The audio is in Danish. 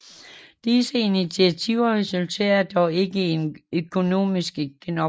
Disse initiativer resulterede dog ikke i en økonomisk genopretning